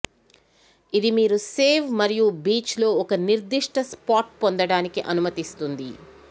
ఇది మీరు సేవ్ మరియు బీచ్ లో ఒక నిర్దిష్ట స్పాట్ పొందడానికి అనుమతిస్తుంది